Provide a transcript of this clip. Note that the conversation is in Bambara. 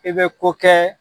I bɛ ko kɛ.